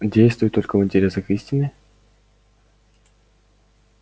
действуй только в интересах истины